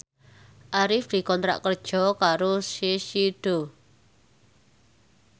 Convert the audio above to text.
Arif dikontrak kerja karo Shiseido